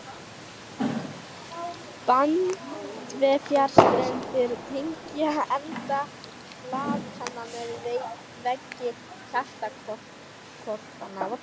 Bandvefjarstrengir tengja enda blaðkanna við veggi hjartahvolfanna.